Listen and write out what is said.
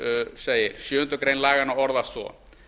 segir sjöundu grein laganna orðast svo